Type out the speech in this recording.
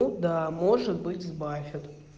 даа может быть в баре я думаю